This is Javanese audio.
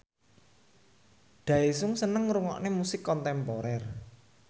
Daesung seneng ngrungokne musik kontemporer